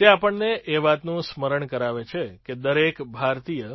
તે આપણને એ વાતનું સ્મરણ કરાવે છે કે દરેક ભારતીય